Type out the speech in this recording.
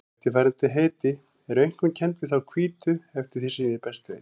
Eftirfarandi heiti eru einkum kennd við þá hvítu eftir því sem ég best veit.